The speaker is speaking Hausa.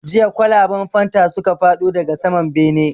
Jiya kwalaban fanta suka faɗo daga saman bene